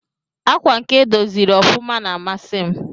Akwa nke edọziri ọfụma na amasi m.